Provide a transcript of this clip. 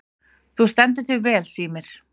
Þú stendur þig vel, Sírnir!